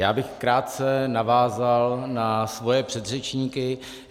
Já bych krátce navázal na své předřečníky.